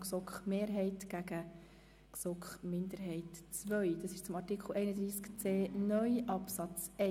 1. Wir stellen den Antrag Regierungsrat und GSoK-Mehrheit dem Antrag GSoK-Minderheit II/Schlup gegenüber.